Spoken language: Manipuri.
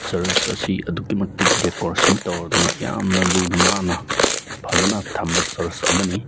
ꯆ꯭ꯔꯁ ꯑꯁꯤ ꯑꯗꯨꯛꯀꯤ ꯃꯇꯤꯠ ꯗꯦꯀꯣꯔꯦꯁꯟ ꯇꯧꯔꯗꯨꯅ ꯌꯥꯝꯅ ꯂꯨꯅ ꯅꯥꯟꯅ ꯐꯖꯅ ꯊꯝꯕ ꯆ꯭ꯔꯁ ꯑꯃꯅꯤ꯫